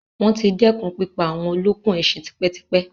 Wọ́n ti dẹ́kun pípa àwọn olókùn ẹṣin tipẹ́ tipẹ́.